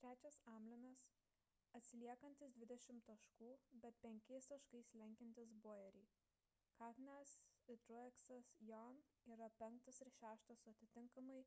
trečias hamlinas atsiliekantis dvidešimt taškų bet penkiais taškais lenkiantis bowyerį kahne'as ir truexas jaun yra penktas ir šeštas su atitinkamai